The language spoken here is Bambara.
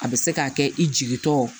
A bɛ se k'a kɛ i jigi tɔ